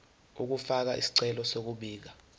ukufaka isicelo sokubika